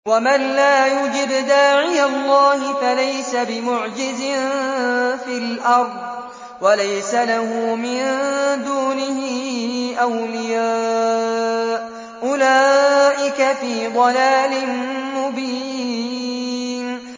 وَمَن لَّا يُجِبْ دَاعِيَ اللَّهِ فَلَيْسَ بِمُعْجِزٍ فِي الْأَرْضِ وَلَيْسَ لَهُ مِن دُونِهِ أَوْلِيَاءُ ۚ أُولَٰئِكَ فِي ضَلَالٍ مُّبِينٍ